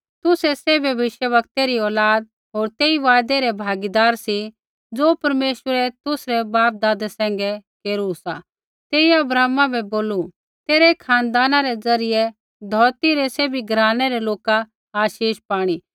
तुसै सैभ भविष्यवक्तै री औलाद होर तेई वायदै रै भागीदार सी ज़ो परमेश्वरै तुसरै बापदादा सैंघै केरू सा तेइयै अब्राहमा बै बोलू तेरै खानदाना रै ज़रियै धौरती रै सैभी घरानै रै लोका आशीष पाणी